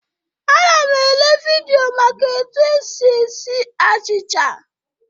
Ana m ele vidịo maka etu esi esi achịcha.